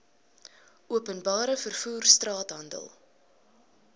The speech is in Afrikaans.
openbare vervoer straathandel